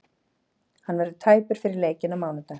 Hann verður tæpur fyrir leikinn á mánudag.